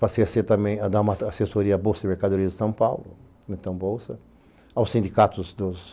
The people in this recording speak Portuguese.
Passei a dar uma assessoria à Bolsa de Mercadorias de São Paulo, na Itambolsa, aos sindicatos dos